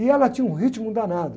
E ela tinha um ritmo danado.